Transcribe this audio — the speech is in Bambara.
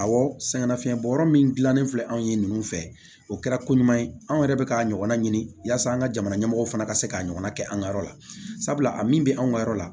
Awɔ sɛgɛnnafiɲɛbɔ yɔrɔ min dilannen filɛ anw ye ninnu fɛ o kɛra ko ɲuman ye anw yɛrɛ bɛ k'a ɲɔgɔnna ɲini yasa an ka jamana ɲɛmɔgɔw fana ka se k'a ɲɔgɔnna kɛ an ka yɔrɔ la sabula a min bɛ anw ka yɔrɔ la